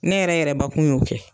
Ne yɛrɛ yɛrɛbakun y'o kɛ.